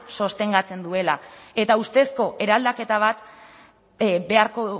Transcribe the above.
sostengatzen duela eta ustezko eraldaketa bat beharko